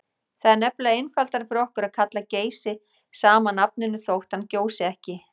Það er nefnilega einfaldara fyrir okkur að kalla Geysi sama nafninu þótt hann gjósi ekki.